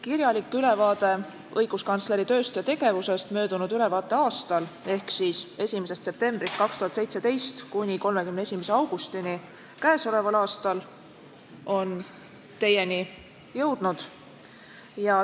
Kirjalik ülevaade õiguskantsleri tööst ja tegevusest möödunud ülevaateaastal ehk siis perioodil 1. septembrist 2017 kuni 31. augustini k.a on teieni jõudnud.